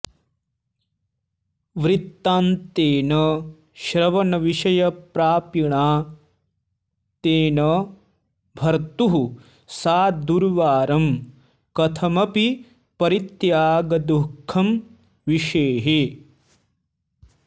वृत्तान्तेन श्रवणविषयप्रापिणा तेन भर्तुः सा दुर्वारं कथमपि परित्यागदुःखं विषेहे